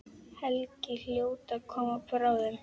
Helgi hljóta að koma bráðum.